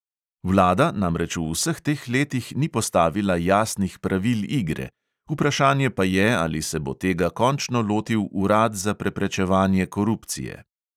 Vlada namreč v vseh teh letih ni postavila jasnih pravil igre, vprašanje pa je, ali se bo tega končno lotil urad za preprečevanje korupcije.